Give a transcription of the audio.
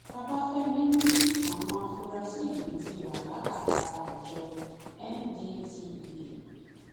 babafẹmi ni àwọn afurasí yìí ti wà lákàtà àjọ ndtea